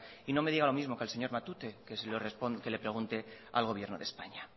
y no me diga lo mismo que al señor matute que le pregunte al gobierno de españa